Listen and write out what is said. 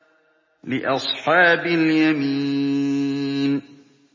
لِّأَصْحَابِ الْيَمِينِ